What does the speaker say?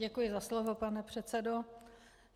Děkuji za slovo, pane předsedo.